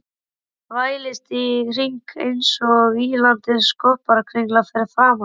Þvælist í hringi einsog ýlandi skopparakringla fyrir framan hann.